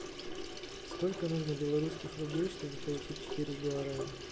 сколько нужно белорусских рублей чтобы получить четыре гуарани